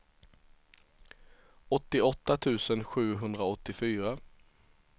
åttioåtta tusen sjuhundraåttiofyra